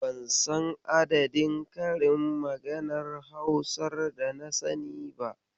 Ban san adadin karin maganar Hausar dana sani ba.